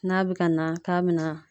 N'a be ka na k'a be na